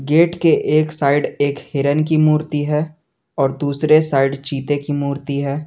Gate के एक side एक हिरण की मूर्ति है और दूसरे साइड चीते की मूर्ति है।